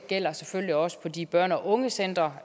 gælder selvfølgelig også på de børne og ungecentre